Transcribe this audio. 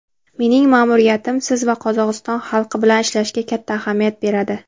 mening ma’muriyatim siz va Qozog‘iston xalqi bilan ishlashga katta ahamiyat beradi.